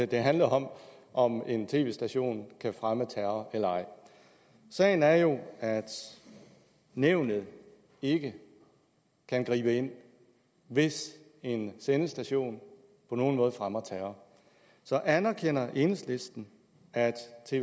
den handler om om hvorvidt en tv station kan fremme terror eller ej sagen er jo at nævnet ikke kan gribe ind hvis en sendestation på nogen måde fremmer terror så anerkender enhedslisten at